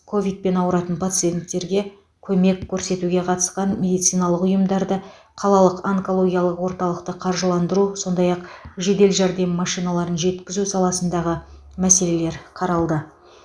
ковид ауыратын пациенттерге көмек көрсетуге қатысқан медициналық ұйымдарды қалалық онкологиялық орталықты қаржыландыру сондай ақ жедел жәрдем машиналарын жеткізу саласындағы мәселелер қаралды